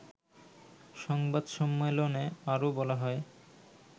সংবাদ সম্মেলনে আরও বলা হয়